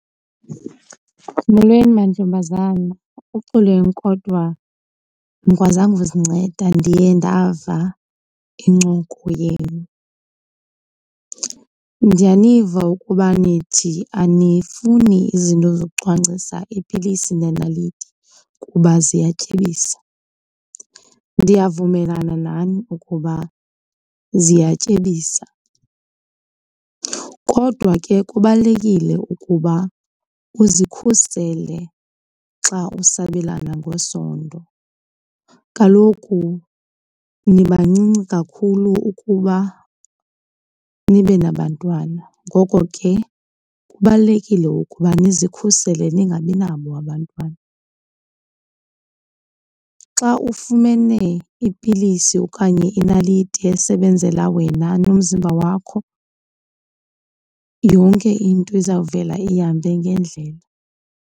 Molweni mantombazana, uxolweni kodwa andikwazanga uzinceda ndiye ndava incoko yenu. Ndiyaniva ukuba nithi anifuni izinto zokucwangcisa, iipilisi nenaliti, kuba ziyatyebisa. Ndiyavumelana nani ukuba ziyatyebisa kodwa ke kubalulekile ukuba uzikhusele xa usabelana ngesondo. Kaloku nibancinci kakhulu ukuba nibe nabantwana, ngoko ke kubalulekile ukuba ndizikhusele ningabi nabo abantwana. Xa ufumene ipilisi okanye inaliti esebenzela wena nomzimba wakho, yonke into izawuvela ihambe ngendlela.